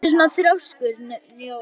Af hverju ertu svona þrjóskur, Njóla?